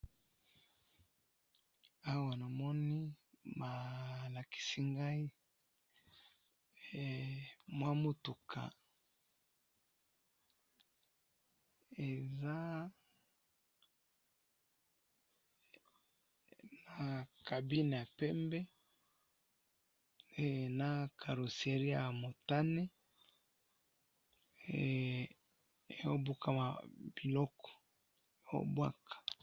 awanamoni baa lakisingayi mwa mutuka eza na kabine ya pembe eh nakaroseriya yamutane eh bukanaliko ee bwaka